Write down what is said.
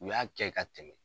U y'a kɛ ka tɛmɛ